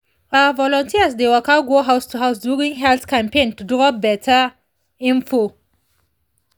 ah volunteers dey waka go house to house during health campaign to drop better info